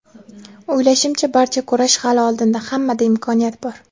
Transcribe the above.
O‘ylashimcha, barcha kurash hali oldinda, hammada imkoniyat bor.